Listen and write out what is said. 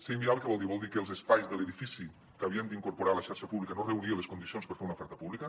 ser inviable què vol dir vol dir que els espais de l’edifici que havíem d’incorporar a la xarxa pública no reunien les condicions per fer una oferta pública